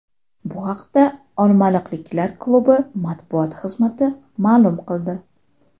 Bu haqda olmaliqliklar klubi matbuot xizmati ma’lum qildi .